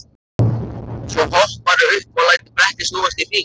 Svo hopparðu upp og lætur brettið snúast í hring.